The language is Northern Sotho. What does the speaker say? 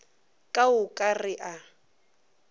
ka o ka re a